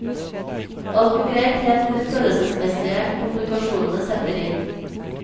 Alt går greit helt til de følelsesmessige komplikasjonene setter inn.